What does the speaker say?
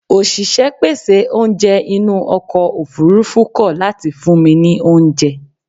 Òṣìṣẹ́ pèsè oúnjẹ inú ọkọ̀ ofurufú kọ̀ láti fún mi ní oúnjẹ.